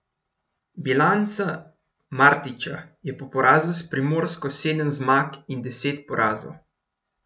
Bilanca Martića je po porazu s Primorsko sedem zmag in deset porazov.